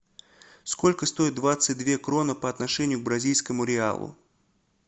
сколько стоит двадцать две кроны по отношению к бразильскому реалу